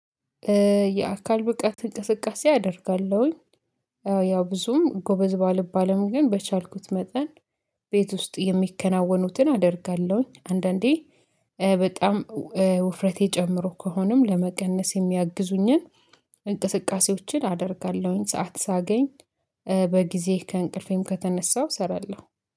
የአካል ብቃት እንቅስቃሴ አደርጋለሁኝ። ያው ያው ብዙም ጎበዝ ባልባልም ግን በቻልኩት መጠን ቤት ውስጥ የሚከናወኑትን አደርጋለሁኝ አንዳንዴ በጣም ውፍረቴ ጨምሮ ከሆነም ለመቀነስ የሚያግዙኝን እንቅስቃሴዎችን አደርጋለሁኝ። ሰዓት ሳገኝ በጊዜ ከእንቅልፌም ከተነሳው እሰራለሁ